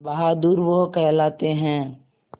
बहादुर वो कहलाते हैं